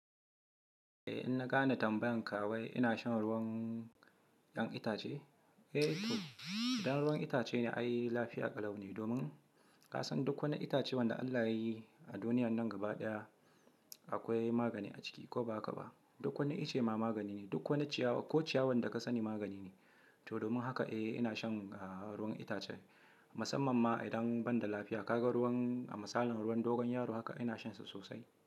Eh, inna gane tambayan ka wai ina shan ruwan 'yan itace? Eh to, idan ruwan itace ne ai lafiya ƙalau ne domin kasan duk wani itace wanda Allah yayi a duniyan nan gaba ɗaya akwai magani a ciki ko ba haka ba. Duk wani ice ma magani ne, duk wani ciyawa ko ciyawan da ka sani magani ne. To domin haka eh ina shan ruwan itace. Musamman ma idan ban da lafiya kaga ruwan a misalin ruwan dogon yaro haka ina shansa sosai.